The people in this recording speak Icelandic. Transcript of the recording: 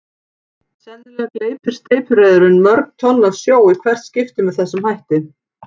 Sennilega gleypir steypireyðurin mörg tonn af sjó í hvert skipti með þessum hætti.